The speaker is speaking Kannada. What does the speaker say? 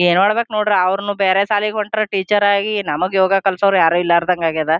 ಏನ್ ಮಾಡ್ಬೇಕ್ ನೋಡ್ರ ಅವ್ರುನು ಬೇರೆ ಶಾಲೆಗ್ ಹೊಂಟ್ರ ಟೀಚರ್ ಆಗಿ ನಮ್ಗು ಯೋಗ ಕಲಸೋರ್ ಯಾರು ಇಲ್ದಂಗ್ ಆಗ್ಯದ.